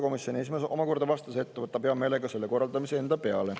Komisjoni esimees vastas, et ta võtab hea meelega selle korraldamise enda peale.